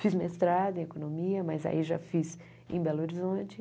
Fiz mestrado em economia, mas aí já fiz em Belo Horizonte.